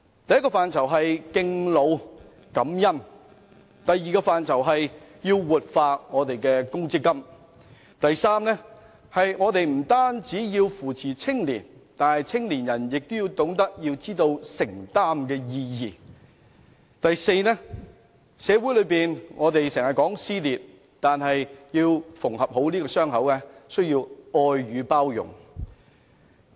第一是敬老感恩；第二是活化強制性公積金；第三是扶持青年人，但青年人亦須懂得承擔；第四是減少社會撕裂，而縫合傷口則需要愛與包容。